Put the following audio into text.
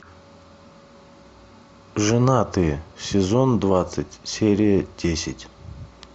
женатые сезон двадцать серия десять